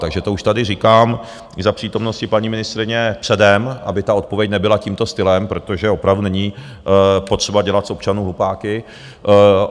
Takže to už tady říkám za přítomnosti paní ministryně předem, aby ta odpověď nebyla tímto stylem, protože opravdu není potřeba dělat z občanů hlupáky.